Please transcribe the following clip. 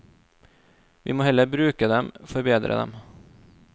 Vi må heller bruke dem, forbedre dem.